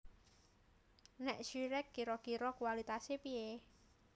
Nek Zyrex kiro kiro kualitase piye?